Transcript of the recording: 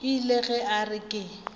ile ge a re ke